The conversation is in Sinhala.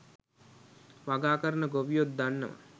වගා කරන ගොවියොත් දන්නවා.